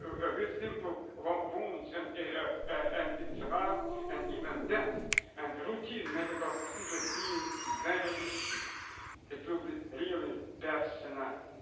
and if we are going to be realistic about combating this global issue, then this should be one of the first places to start. I want to thank the rapporteur for her work and her cooperation with our committee on this issue.